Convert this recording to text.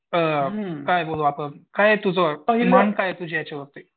अ काय बघू आपण काय तुझं काय आहे तुझे याच्यावर?